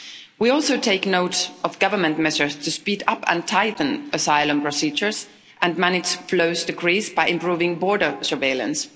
We also take note of government measures to speed up and tighten asylum procedures and manage flows to Greece by improving border surveillance.